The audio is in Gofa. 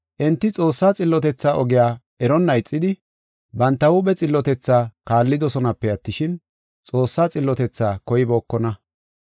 Enti Xoossaa xillotethaa ogiya eronna ixidi, banta huuphe xillotethaa kaallidosonape attishin, Xoossaa xillotethaa koybookona.